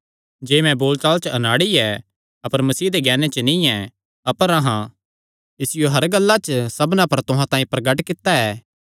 जे मैं बोल चाल च अनाड़ी ऐ अपर मसीह दे ज्ञाने च नीं ऐ अपर अहां इसियो हर गल्ला च सबना पर तुहां तांई प्रगट कित्ता ऐ